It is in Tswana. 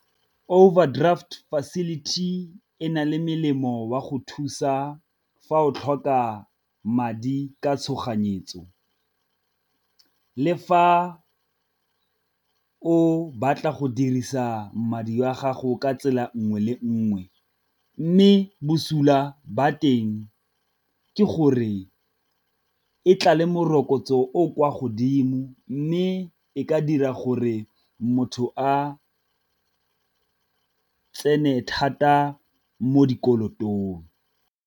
Overdraft facility ena le melemo wa go thusa fa o tlhoka madi ka tshoganyetso, le fa o batla go dirisa madi wa gago ka tsela nngwe le nngwe. Mme bosula ba teng ke gore e tla le morokotso o o kwa godimo, mme e ka dira gore motho a tsene thata mo dikolotong.